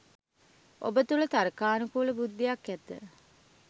ඔබ තුල තර්කානු කූල බුද්ධියක් ඇත